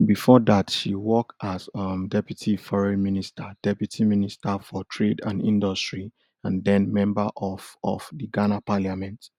bifor dat she work as um deputy foreign minster deputy minister for trade and industry and den member of of di ghana parliament